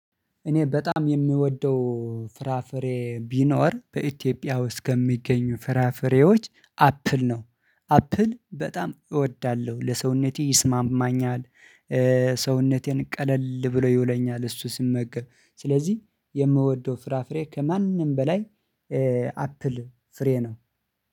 ኔ በጣም የምወደው ፍራፍሬ ቢኖር በኢትዮጵያ ውስጥ ከሚገኙ ፍራፍሬዎች አፕል ነው። አፕል በጣም እወዳለሁ ለሰውነቴ ይስማማኛል ሰውነቴን ቀለል ብሎ ይውለኛል እሱን ስመገብ ስለዚህ የምወደው ፍራፍሬ ከማንም በላይ አፕል ፍሬ ነው።